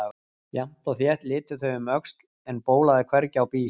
Jafnt og þétt litu þau um öxl en bólaði hvergi á bíl.